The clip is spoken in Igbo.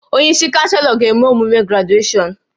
Onye isi Chanselọ ga-eme emume grajueshọn